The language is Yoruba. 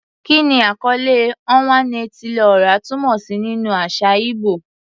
Kí ni àkọlé "Onwa-na-etili-ora" túmọ̀ sí nínú àṣà ìgbò?